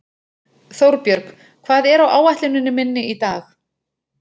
Þórbjörg, hvað er á áætluninni minni í dag?